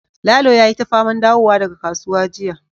lalo yayi ta faman dawowa daga kasuwa jiya